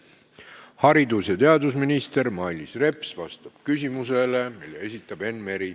Haridus- ja teadusminister Mailis Reps vastab küsimusele, mille esitab Enn Meri.